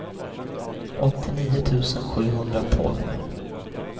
åttionio tusen sjuhundratolv